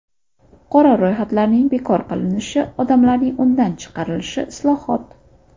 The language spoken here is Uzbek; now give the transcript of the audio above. Qora ro‘yxatlarning bekor qilinishi, odamlarning undan chiqarilishi islohot.